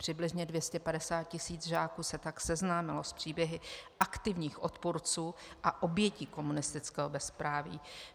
Přibližně 250 tisíc žáků se tak seznámilo s příběhy aktivních odpůrců a obětí komunistického bezpráví.